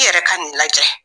I yɛrɛ ka nin lajɛ